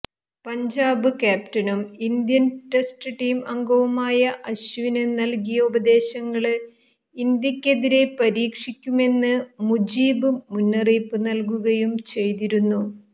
പഞ്ചാബ് ക്യാപ്റ്റനും Indian test team അംഗവുമായ അശ്വിന് നല്കിയ ഉപദേശങ്ങള് ഇന്ത്യക്കെതിരേ പരീക്ഷിക്കുമെന്ന് മുജീബ് മുന്നറിയിപ്പ് നല്കുകയും ചെയ്തിരുന്നു